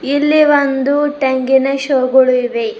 ಇಲ್ಲಿ ಒಂದು ತೆಂಗಿನ ಶೋ ಗಳು ಇವೆ.